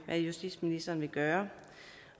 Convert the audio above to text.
hvad justitsministeren vil gøre